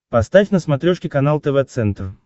поставь на смотрешке канал тв центр